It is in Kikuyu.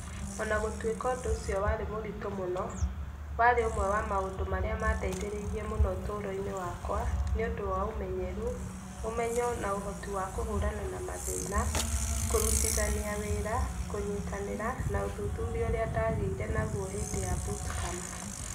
O na gũtuĩka ũndũ ũcio warĩ mũritũ mũno, warĩ ũmwe wa maũndũ marĩa mandeithĩrĩirie mũno ũtũũro-inĩ wakwa, nĩ ũndũ wa ũmenyeru, ũmenyo, na ũhoti wa kũhũrana na mathĩna, kũrutithania wĩra, kũnyitanĩra, na ũthuthuria ũrĩa ndaagĩire naguo hĩndĩ ya Bootcamp.